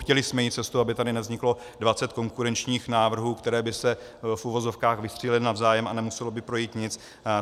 Chtěli jsme jít cestou, aby tady nevzniklo 20 konkurenčních návrhů, které by se, v uvozovkách, vystřílely navzájem, a nemuselo by projít nic.